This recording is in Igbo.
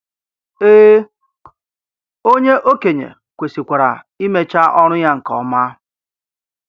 Ee, onye okenye kwesịkwara imecha ọrụ ya nke ọma.